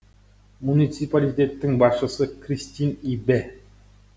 муниципалитеттің басшысы керстин ибе